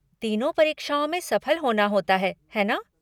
तीनों परीक्षाओं में सफल होना होता है, है ना?